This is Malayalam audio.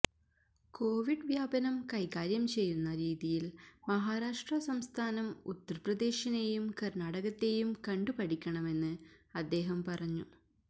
കോവിഡ് വ്യാപനം കൈകാര്യം ചെയ്യുന്ന രീതിയില് മഹാരാഷ്ട്ര സംസ്ഥാനം ഉത്തര്പ്രദേശിനേയും കര്ണാടകത്തേയും കണ്ടുപഠിക്കണമെന്ന് അദ്ദേഹം പറഞ്ഞു